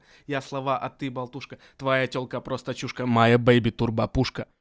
я слова а ты болтушка твоя тёлка просто чушка моя бэйби турбо пушка